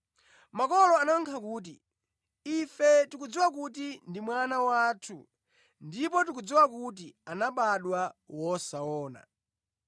Makolo anayankha kuti, “Ife tikudziwa kuti ndi mwana wathu, ndipo tikudziwa kuti anabadwa wosaona.